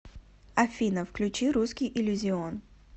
афина включи русский иллюзион